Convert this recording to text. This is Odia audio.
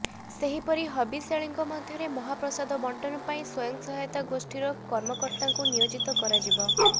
ସେହିପରି ହବିଷ୍ୟାଳୀଙ୍କ ମଧ୍ୟରେ ମହାପ୍ରସାଦ ବଣ୍ଟନ ପାଇଁ ସ୍ୱୟଂସହାୟକ ଗୋଷ୍ଠୀର କର୍ମକର୍ତ୍ତାଙ୍କୁ ନିୟୋଜିତ କରାଯିବ